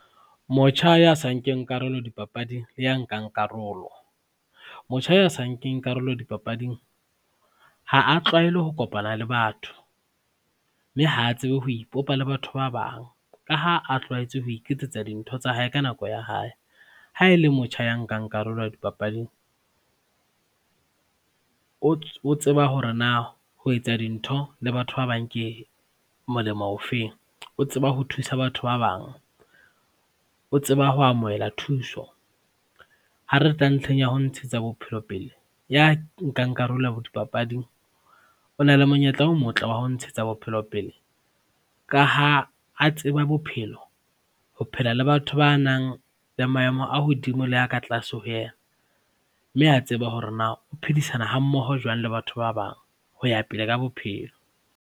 Motjha ya sa nkeng karolo dipapading le ya nkang karolo. Motjha ya sa nkeng karolo dipapading ha a tlwaele ho kopana le batho mme ha a tsebe ho ipopa le batho ba bang ka ha a tlwaetse ho iketsetsa dintho tsa hae ka nako ya hae. Ha e le motjha ya nkang karolo dipapading o tseba hore na ho etsa dintho le batho ba bange kmolemo o feng, o tseba ho thusa batho ba bang, o tseba ho amohela thuso. Ha re tla ntlheng ya ho ntshetsa bophelo pele ya nkang karolo dipapading, o na le monyetla o motle wa ho ntshetsa bophelo pele ka ha a tseba bophelo, ho phela le batho ba nang le maemo a hodimo le a ka tlaase ho yena, mme a tseba hore na o phedisana ha mmoho jwang le batho ba bang ho ya pele ka bophelo.